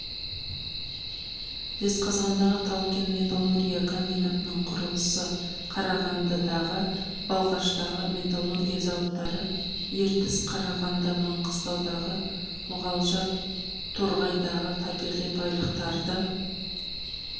жезқазғандағы тау-кен металлургия комбинатының құрылысы қарағандыдағы балқаштағы металлургия зауыттары ертіс қарағанды маңғыстаудағы мұғалжар торғайдағы табиғи байлықтарды